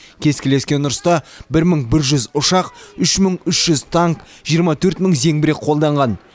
кескілескен ұрыста бір мың бір жүз ұшақ үш мың үш жүз танк жиырма төрт мың зеңбірек қолданған